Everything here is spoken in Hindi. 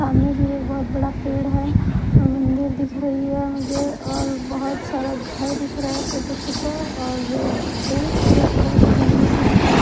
सामने भी एक बहुत बड़ा पेड़ है मंदिर दिख रही है मुझे और बहुत सारा घर दिख रहा है छोटा छोटा और पेड़ पौधे तो बहुत जंगल भी दिख रहा है।